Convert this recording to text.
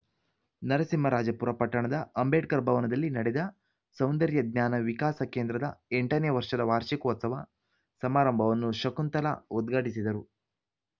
ನರಸಿಂಹರಾಜಪುರ ಪಟ್ಟಣದ ಅಂಬೇಡ್ಕರ್‌ ಭವನದಲ್ಲಿ ನಡೆದ ಸೌಂದರ್ಯ ಜ್ಞಾನ ವಿಕಾಸ ಕೇಂದ್ರದ ಎಂಟನೇ ವರ್ಷದ ವಾರ್ಷಿಕೋತ್ಸವ ಸಮಾರಂಭವನ್ನು ಶಕುಂತಳಾ ಉದ್ಘಾಟಿಸಿದರು